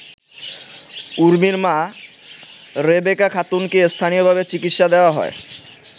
উর্মির মা রেবেকা খাতুনকে স্থানীয়ভাবে চিকিৎসা দেয়া হয়।